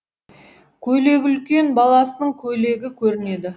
көйлегі үлкен баласының көйлегі көрінеді